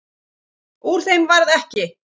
Úr þeim varð ekki.